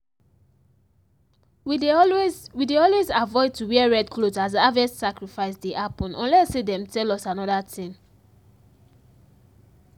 we dey always we dey always avoid to wear red cloth as harvest sacrifice dey happen unless say dem tell us another thing.